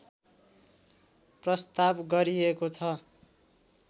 प्रस्ताव गरिएको छ